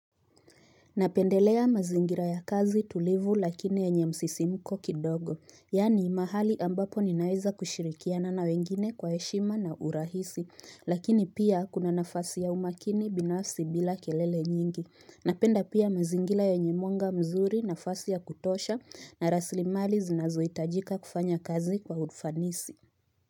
Napendelea mazingira ya kazi tulivu lakini yenye msisimuko kidogo, yaani mahali ambapo ninaweza kushirikiana na wengine kwa heshima na urahisi, lakini pia kuna nafasi ya umakini binafsi bila kelele nyingi. Napenda pia mazingira yenye mwanga mzuri, nafasi ya kutosha na rasilimali zinazohitajika kufanya kazi kwa ufanisi.